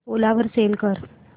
ओला वर सेल कर